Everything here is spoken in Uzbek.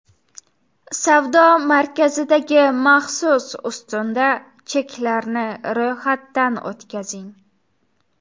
Savdo markazidagi maxsus ustunda cheklarni ro‘yxatdan o‘tkazing.